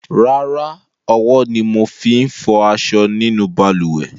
Rárá, owó ni mo fi n fo aso nínú balùwè